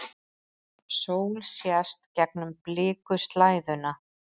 Sól sést gegnum blikuslæðuna.